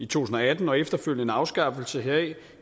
tusind og atten og efterfølgende afskaffelse heraf